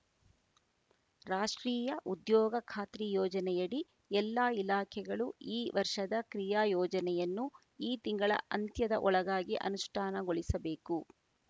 ರಾಷ್ಟ್ರೀಯ ಉದ್ಯೋಗ ಖಾತ್ರಿ ಯೋಜನೆಯಡಿ ಎಲ್ಲಾ ಇಲಾಖೆಗಳು ಈ ವರ್ಷದ ಕ್ರಿಯಾ ಯೋಜನೆಯನ್ನು ಈ ತಿಂಗಳ ಅಂತ್ಯದ ಒಳಗಾಗಿ ಅನುಷ್ಟಾನಗೊಳಿಸಬೇಕು